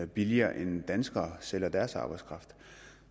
billigere end danskere sælger deres arbejdskraft